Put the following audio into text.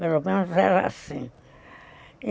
Pelo menos era assim.